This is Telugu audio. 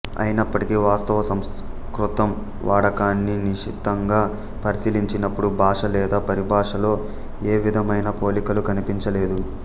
అయినప్పటికీ వాస్తవ సంస్కృతం వాడకాన్ని నిశితంగా పరిశీలించినప్పుడు భాష లేదా పరిభాషలో ఏ విధమైన పోలికలు కనిపించలేదు